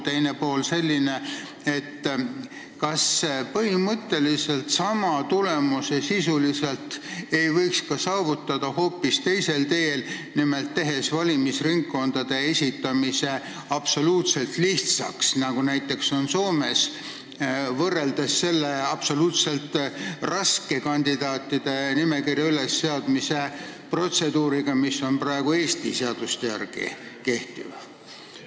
Teine pool on selline: kas põhimõtteliselt võiks sisuliselt sama tulemuse saavutada hoopis teisel teel, nimelt tehes valimisnimekirjade esitamise absoluutselt lihtsaks, nagu on näiteks Soomes, võrreldes selle absoluutselt raske kandidaatide nimekirja ülesseadmise protseduuriga, mis praegu Eesti seaduste järgi kehtib?